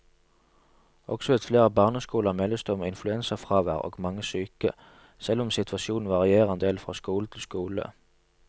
Også ved flere andre barneskoler meldes det om influensafravær og mange syke, selv om situasjonen varierer en del fra skole til skole.